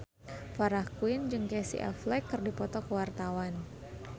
Farah Quinn jeung Casey Affleck keur dipoto ku wartawan